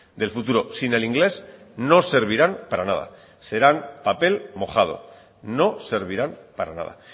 del futuro sin el inglés no servirán para nada serán papel mojado no servirán para nada